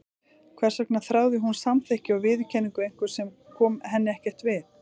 Hvers vegna þráði hún samþykki og viðurkenningu einhvers sem kom henni ekkert við?